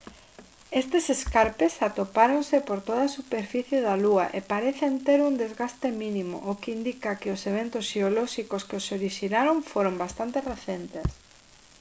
estes escarpes atopáronse por toda a superficie da lúa e parecen ter un desgaste mínimo o que indica que os eventos xeolóxicos que os orixinaron foron bastante recentes